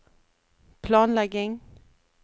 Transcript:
planlegging